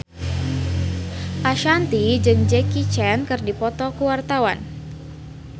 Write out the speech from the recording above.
Ashanti jeung Jackie Chan keur dipoto ku wartawan